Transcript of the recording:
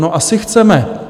No asi chceme.